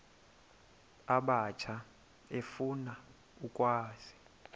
abatsha efuna ukwazi